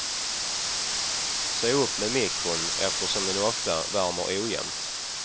Se upp med mikron eftersom den ofta värmer ojämnt.